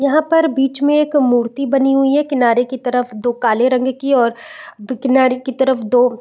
यहाँ पर बीच में एक मूर्ति बनी हुई है किनारे की तरफ दो काले रंगे की और दो --